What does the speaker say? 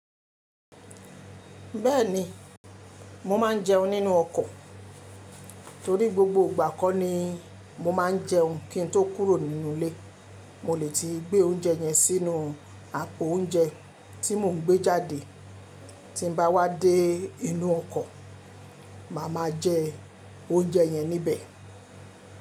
Bẹ́ẹ̀ni, mo ma n jeun nínú ọkọ̀ torí gbogbo ìgbà kọ́ ni mo má a n jeun kín n tó kúrò nínú ilé, mo lè ti gbé oúnjẹ yẹn sínú àpò oúnjẹ tí mo ń gbé jáde tí n bá wá dé inú ọkọ̀, màá ma jẹ oúnjẹ yẹn níbẹ̀.